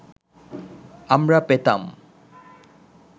আমরা পেতাম